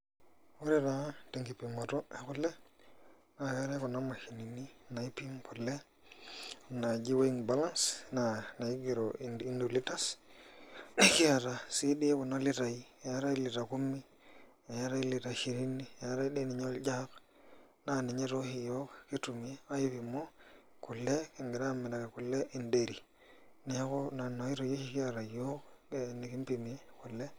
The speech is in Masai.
Ore taa tenkipimoto ekule naa keetai kuna mashinini naipimieki kule naaji weighing balance naa naigero any litres kiata sii doi kuna litai eetai lita kumi eetai lita ishirini eetai doi ninye oljug naa ninye nooshi iyiook kitum aipimie kule kigira aamiraki kule endairy, neeku nena oitoi oshi kiata iyiook enikimpimie kule.